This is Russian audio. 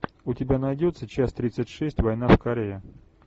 у тебя найдется часть тридцать шесть война в корее